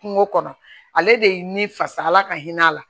Kungo kɔnɔ ale de ye ni fasa ala ka hin'a la